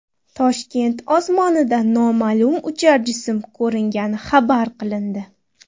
Toshkent osmonida noma’lum uchar jism ko‘ringani xabar qilindi.